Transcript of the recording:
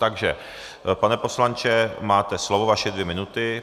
Takže pane poslanče, máte slovo, vaše dvě minuty.